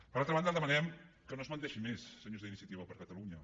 per altra banda demanem que no es menteixi més senyors d’iniciativa per catalunya